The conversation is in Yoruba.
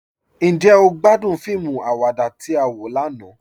Njẹ́ o gbàdún fíìmù àwàdà tí a wọ lànà?